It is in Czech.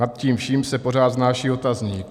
Nad tím vším se pořád snáší otazník.